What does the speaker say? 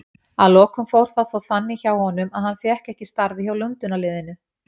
Að lokum fór það þó þannig hjá honum að hann fékk ekki starfið hjá Lundúnarliðinu.